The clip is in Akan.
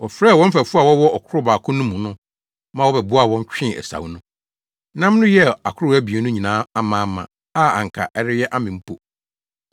Wɔfrɛɛ wɔn mfɛfo a wɔwɔ ɔkorow baako no mu no ma wɔbɛboaa wɔn twee asau no. Nam no yɛɛ akorow abien no nyinaa amaama a anka ɛreyɛ amem mpo.